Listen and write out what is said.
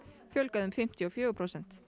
fjölgað um fimmtíu og fjögur prósent